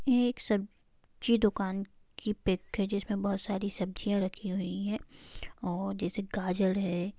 ये एक सब्-जी दुकान की पिक है जिसमे बहुत सारी सब्जियां रखी हुई हैं और जैसे गाजर है।